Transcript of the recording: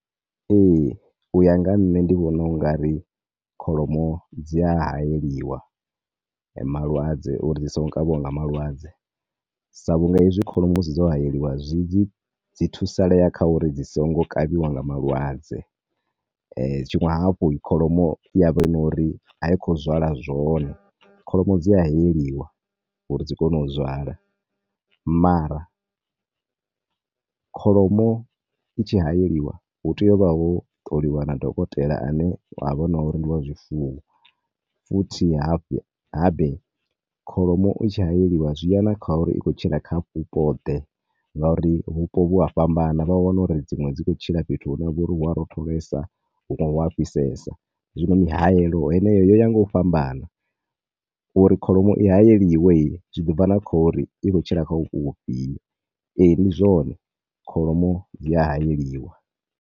Ee, u ya nga nṋe ndi vhona ungari kholomo dzi a hayeliwa malwadze uri dzi songo kavhiwa nga malwadze, sa vhunga hezwi kholomo hedzi dzo hayeliwa dzi thusaleya kha uri dzi songo kavhiwa nga malwadze. Tshiṅwe hafhu kholomo iyavha na uri a i khou zwala zwone, kholomo dzi a hayeliwa uri dzi kone u zwala, mara kholomo i tshi hayeliwa hutea u vha ho ṱoliwa na dokotela ane ha vha hu no uri ndi wa zwifuwo, futhi hafe habe kholomo i tshi hayeliwa zwi ya na kha uri i khou tshila kha vhupo ḓe, nga uri vhupo vhu a fhambana, vha wane uri dzinwe dzi khou tshila fhethu hune ha vha uri hu a rotholesa hunwe hu a fhisesa. Zwino mihayelo heneyo yo ya nga u fhambana, uri kholomo i hayeliwe zwi ḓi bva na khouri i khou tshila kha vhupo vhufhio. Ee, ndi zwone kholomo dzi a hayeliwa.